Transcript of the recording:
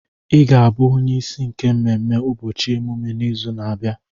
I ga-abụ onyeisi nke mmemme ụbọchị ọmụmụ n'izu na-abịa.